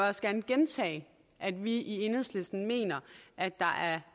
også gerne gentage at vi i enhedslisten mener at der